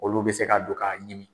Olu bɛ se ka don k'a ɲimi.